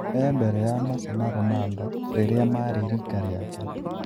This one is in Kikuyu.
E-mbere ya Masi na Ronando rĩrĩa marĩ rika rĩake.